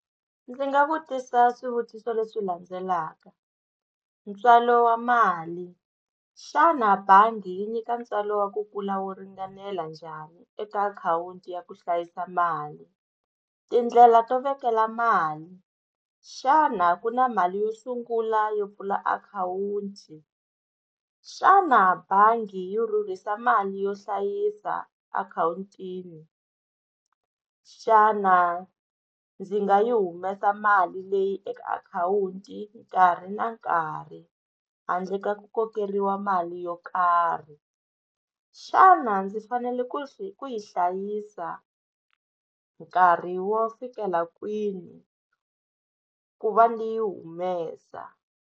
Ndzi nga vutisa swivutiso leswi landzelaka ntswalo wa mali xana bangi yi nyika ntswalo wa ku kula wu ringanela njhani eka akhawunti ya ku hlayisa mali tindlela to vekela mali xana ku na mali yo sungula yo pfula akhawunti xana bangi yo rhurhisa mali yo hlayisa akhawunti yini xana ndzi nga yi humesa mali leyi eka akhawunti nkarhi na nkarhi handle ka ku kokeriwa mali yo karhi xana ndzi fanele ku xi ku yi hlayisa nkarhi wo fikela kwini ku va ni yi humesa.